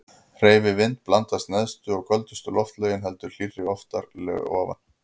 Hreyfi vind blandast neðstu og köldustu loftlögin heldur hlýrra lofti fyrir ofan.